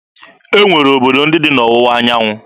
E nwere obodo ndị dị n'Ọwụwa anyanwụ.